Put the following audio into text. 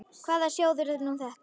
Hvaða sjóður er nú þetta?